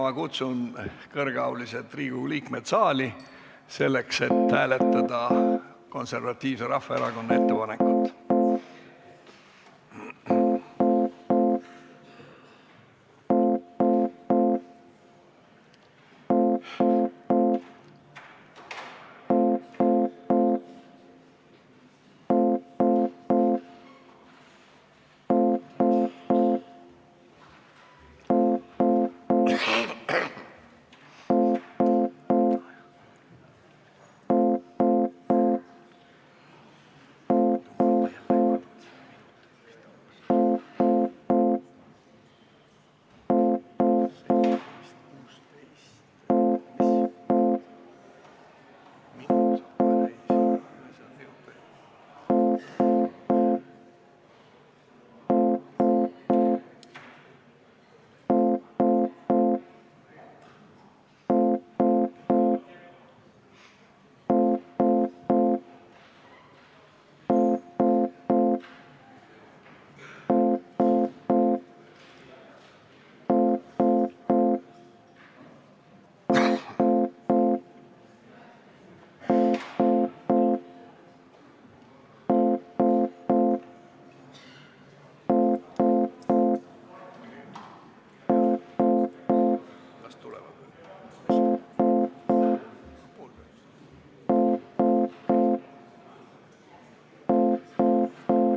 Ma kutsun kõrgeaulised Riigikogu liikmed saali, et hääletada Konservatiivse Rahvaerakonna ettepanekut.